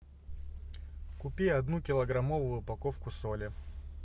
купи одну килограммовую упаковку соли